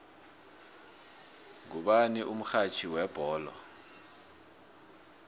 ngubani umxhatjhi webholo